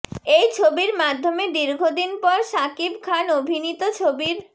এই ছবির মাধ্যমে দীর্ঘদিন পর শাকিব খান অভিনীত ছবির